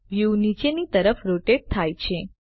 view નીચેની તરફ rotate થાય છે